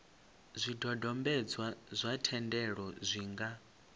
zwidodombedzwa zwa thendelo zwi nga